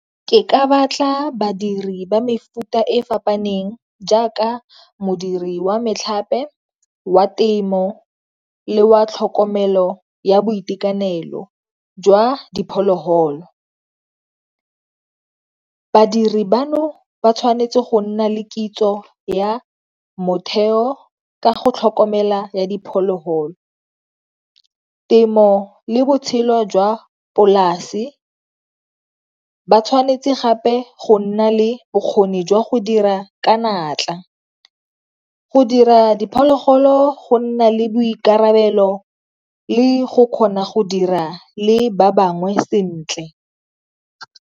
Ke ka batla badiri ba mefuta e fapaneng jaaka modiri wa metlhape, wa temo, le wa tlhokomelo ya boitekanelo jwa diphologolo. Badiri bano ba tshwanetse go nna le kitso ya motheo ka go tlhokomela ya diphologolo, temo le botshelo jwa polasi, ba tshwanetse gape go nna le bokgoni jwa go dira ka natla, go dira diphologolo go nna le boikarabelo, le go kgona go dira le ba bangwe sentle.